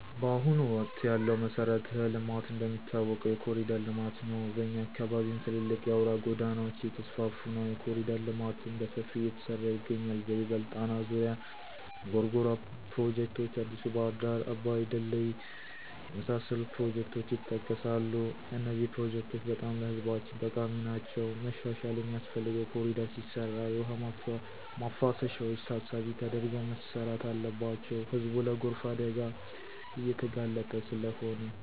ባሁኑ ወቅት ያለው መሠረተ ልማት እንደሚታወቀው የኮሪደር ለማት ነው። በኛ አካባቢም ትልልቅ አውራ ጎዳናወች እየተስፍፋ ነው። የኮሪደር ልማትም በሠፊው እየተሠራ ይገኛል በይበልጥ ጣና ዙሪያ፣ ጎርጎራ ፕሮጀክቶች፣ አዲሡ ባህር ዳር አባይ ድልድይ የመሣሠሉት ፕሮጀክቶች የጠቀሣሉ። እነዚህ ፕሮጀክቶች በጣም ለህዝባችን ጠቃሚ ናቸዉ። መሻሻል ሚያስፈልገው ኮሪደር ሲሰራ የውሃ ማፋሰሻዎች ታሣቢ ተደርገው መሠራት አለባቸው ህዝቡ ለጎርፍ አደጋ እየተጋለጠ ስለሆነ።